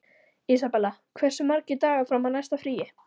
Isabella, hversu margir dagar fram að næsta fríi?